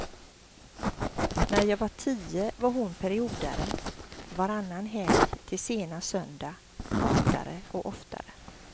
När jag var tio var hon periodare, varannan helg till sena söndag, oftare och oftare.